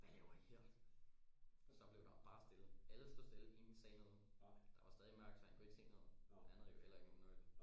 Hvad laver I her? så blev der bare stille alle stod stille ingen sagde noget der var stadig mørkt så han kunne se noget han havde jo heller ikke nogen nøgle